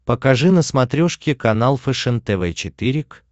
покажи на смотрешке канал фэшен тв четыре к